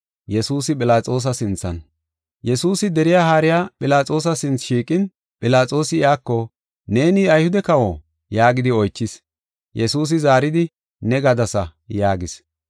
Yesuusi deriya haariya Philaxoosa sinthe shiiqin, Philaxoosi iyako, “Neeni Ayhude kawo?” yaagidi oychis. Yesuusi zaaridi, “Ne gadasa” yaagis.